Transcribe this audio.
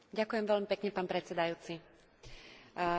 Hlasovala som proti schválenému návrhu smernice.